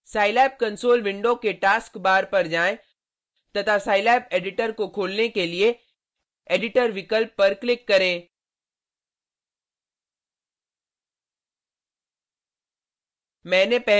scilab console window के taskbar पर जाएँ तथा scilab एडिटर को खोलने के लिए एडिटर विकल्प पर क्लिक करें